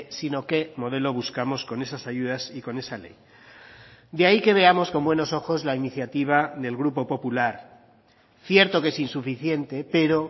sino qué modelo buscamos con esas ayudas y con esa ley de ahí que veamos con buenos ojos la iniciativa del grupo popular cierto que es insuficiente pero